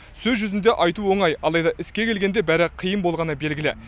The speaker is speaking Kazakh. сөз жүзінде айту оңай алайда іске келгенде бәрі қиын болғаны белгілі